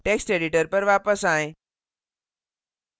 text editor पर वापस आएँ